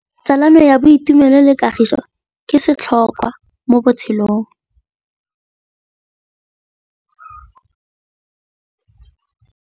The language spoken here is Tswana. Tsalano ya boitumelo le kagiso ke setlhôkwa mo botshelong.